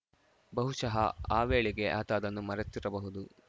ಬಹುಶಃ ಆ ವೇಳೆಗೆ ಆತ ಅದನ್ನು ಮರೆತಿರಬಹುದು